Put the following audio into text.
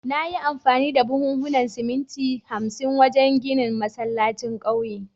Na yi amfani da buhunan siminti hamsin wajen ginin masallacin kauyen